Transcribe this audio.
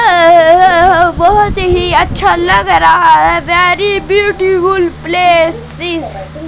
बहोत ही अच्छा लग रहा है वेरी ब्यूटीफुल प्लेस इज --